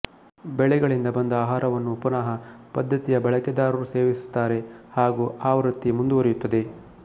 ಬೆಳೆಗಳಿಂದ ಬಂದ ಆಹಾರವನ್ನು ಪುನಃ ಪದ್ಧತಿಯ ಬಳಕೆದಾರರು ಸೇವಿಸುತ್ತಾರೆ ಹಾಗೂ ಆವೃತ್ತಿ ಮುಂದುವರೆಯುತ್ತದೆ